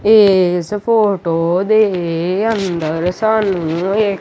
ਏਸ ਫੋਟੋ ਦੇ ਅੰਦਰ ਸਾਨੂੰ ਇਕ--